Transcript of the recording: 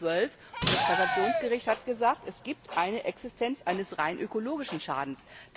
2012. Das Kassationsgericht hat gesagt Es gibt eine Existenz eines rein ökologischen Schadens.